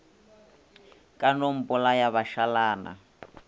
ka no mpolaya ba šalana